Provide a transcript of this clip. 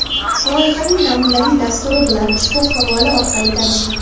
Loyihaning namunaviy dasturi bilan ushbu havola orqali tanishing.